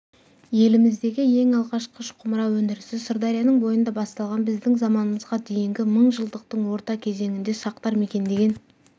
еліміздегі ең алғаш қыш-құмыра өндірісі сырдарияның бойында басталған біздің заманымызға дейінгі мыңжылдықтың орта кезеңінде сақтар мекендеген